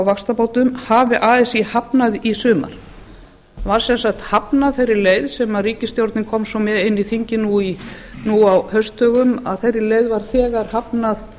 vaxtabótum hafði así hafnað í sumar það var sem sagt hafnað þeirri leið sem ríkisstjórnin kom svo með inn í þingið nú á haustdögum þeirri leið var þegar hafnað